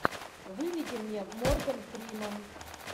выведи мне морган фриман